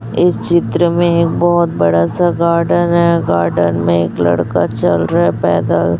इस चित्र में बहोत बड़ा सा गार्डन है गार्डन में एक लड़का चल रहा है पैदल।